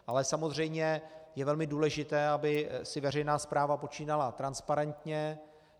Ale samozřejmě je velmi důležité, aby si veřejná správa počínala transparentně.